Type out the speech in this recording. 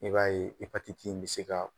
I b'a ye epatiti in bɛ se ka